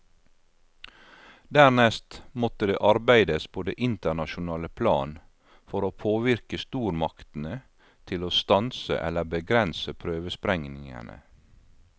Dernest måtte det arbeides på det internasjonale plan for å påvirke stormaktene til å stanse eller begrense prøvesprengningene.